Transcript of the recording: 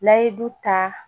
N'a ye du ta